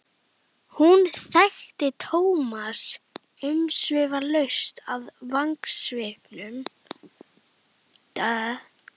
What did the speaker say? Hún þekkti Thomas umsvifalaust af vangasvipnum.